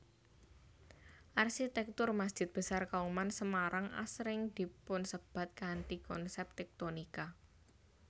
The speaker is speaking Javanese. Arsitektur Masjid Besar Kauman Semarang asring dipunsebat kanthi konsep tektonika